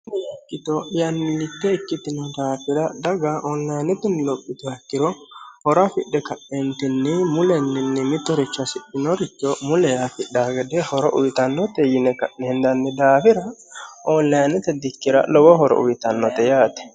kitoo'yannilitte ikkittino daafira dhaga oonlayinotinni lophito hakkiro horo afidhe ka'eentinni mulenninni mitoricha sihinoricho mule yaafidhaagede horo uyitannote yini ka'nihindanni daafira oonlayinnote dikkira lowo horo uyitannote yaate